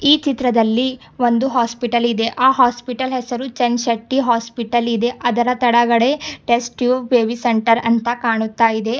ಈ ಚಿತ್ರದಲ್ಲಿ ಒಂದು ಹಾಸ್ಪಿಟಲ್ ಇದೆ ಆ ಹಾಸ್ಪಿಟಲ್ ಹೆಸರು ಚನ್ಶೆಟ್ಟಿ ಹಾಸ್ಪಿಟಲ್ ಇದೆ ಅದರ ತೆಳಗಡೆ ಟೆಸ್ಟ್ ಟ್ಯೂಬ್ ಬೇಬಿ ಸೆಂಟರ್ ಅಂತ ಕಾಣುತ್ತ ಇದೆ.